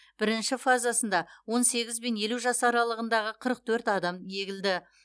бірінші фазасында он сегіз бен елу жас аралығындағы қырық төрт адам егілді